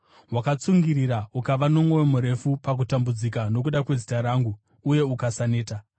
Wakatsungirira ukava nomwoyo murefu pakutambudzika nokuda kwezita rangu, uye ukasaneta.